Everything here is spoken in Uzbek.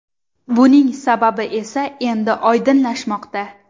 Buning sababi esa endi oydinlashmoqda.